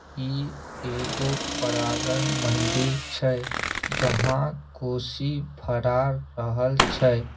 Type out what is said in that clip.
इ एगो परागन मंदिर छै जहां कोसी फरार रहल छै।